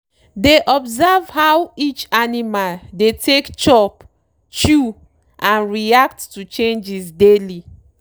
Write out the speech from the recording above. dey observe how each animal dey take chop chew and react to changes daily